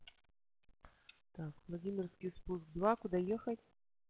так владимирский спуск два куда ехать